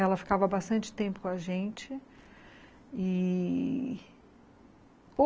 Ela ficava bastante tempo com a gente.